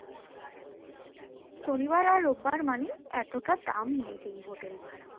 শনিবার আর রবিবার মানেই এতটা দাম নেবেই hotel ভাড়া তো যাই হোক